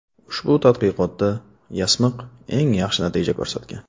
Ushbu tadqiqotda yasmiq eng yaxshi natijani ko‘rsatgan.